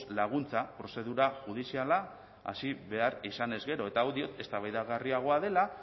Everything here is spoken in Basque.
laguntza prozedura judiziala hasi behar izanez gero eta hau eztabaidagarriagoa dela